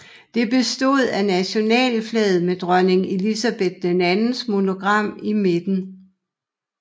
Det bestod af nationalflaget med dronning Elizabeth IIs monogram i midten